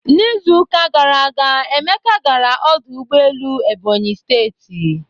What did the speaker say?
N'Izuụka gara aga,, Emeka gara ọdụ ụgbọelu Ebony steeti.